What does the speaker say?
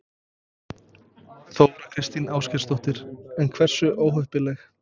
Þóra Kristín Ásgeirsdóttir: En hversu óheppileg?